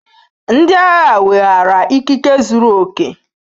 Ndị agha weghaara ikike zuru oke.